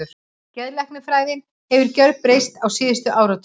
Geðlæknisfræðin hefur gjörbreyst á síðustu áratugum.